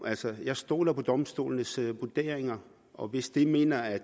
altså jeg stoler på domstolenes vurderinger og hvis de mener at